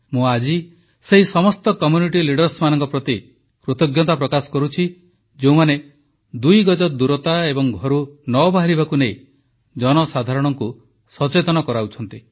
ମୁଁ ଆଜି ସେହି ସମସ୍ତ ଗୋଷ୍ଠୀ ପ୍ରତିନିଧିମାନଙ୍କ ପ୍ରତି ମଧ୍ୟ କୃତଜ୍ଞତା ପ୍ରକାଶ କରୁଛି ଯେଉଁମାନେ ଦୁଇ ଗଜ ଦୂରତା ଏବଂ ଘରୁ ନ ବାହାରିବାକୁ ନେଇ ଜନସାଧାରଣଙ୍କୁ ସଚେତନ କରାଉଛନ୍ତି